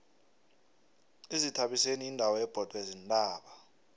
izithabiseni yindawo ebhodwe ziintaba